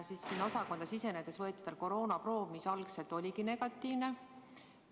Sinna osakonda sisenedes võeti talt koroonaproov, mis algul oligi negatiivne.